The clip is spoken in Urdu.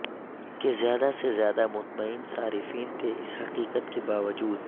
کہ زیادہ سے زیادہ مطمئن صارفین تھے اس حقیقت کے باوجود